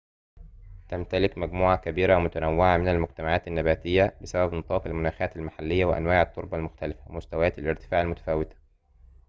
تمتلك مجموعة كبيرة ومتنوعة من المجتمعات النباتية بسبب نطاق المناخات المحلية وأنواع التربة المختلفة ومستويات الارتفاع المتفاوتة